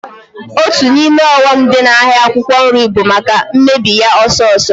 Otu n'ime ọghọm dị n'ahịa akwụkwọ nri bụ maka mmebi ya ọsọọsọ